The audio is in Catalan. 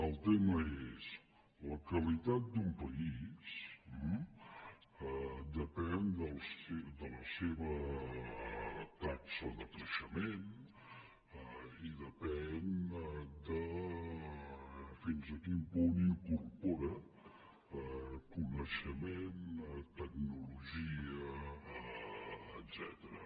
el tema és la qualitat d’un país depèn de la seva taxa de creixement i depèn de fins a quin punt incorpora coneixement tecnologia etcètera